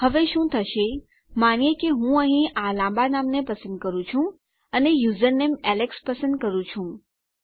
હવે શું થશે માનીએ કે હું અહીં આ લાંબા નામને પસંદ કરું છું અને યુઝરનેમ એલેક્સ પસંદ કરું છું